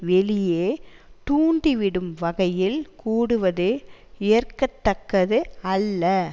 வெளியே தூண்டி விடும் வகையில் கூடுவதே ஏற்கத்தக்கது அல்ல